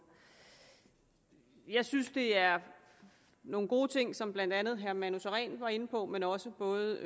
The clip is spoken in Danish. jeg synes det er nogle gode ting som blandt andet herre manu sareen var inde på men også både